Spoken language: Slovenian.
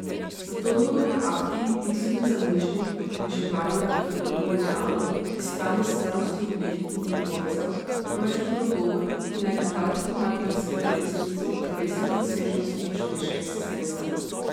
Zato njegovi akti niso bili zamišljeni kot približevanja lepotnemu idealu, iskanja skladnosti oblik in proporcev, temveč kot nagovor, ki naj gledalcu pomaga razkriti resnico o telesnih razsežnostih človeške eksistence.